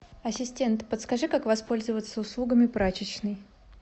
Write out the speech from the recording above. ассистент подскажи как воспользоваться услугами прачечной